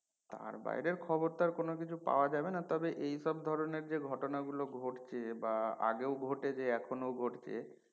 তার বাহিরের খবর টা কোন কিছু পাওয়া যাবে না তবে এই সব ধরনের যে সব ঘটনা গুলো ঘটছে বা আগেও ঘটেছে এখনো ঘটছে